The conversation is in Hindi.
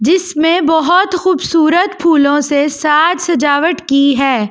जिसमे बहुत खूबसूरत फूलो से साज सजावट की है।